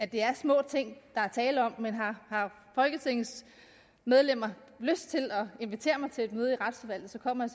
det er små ting der er tale om men har folketingets medlemmer lyst til at invitere mig til et møde i retsudvalget kommer